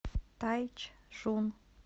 тайчжун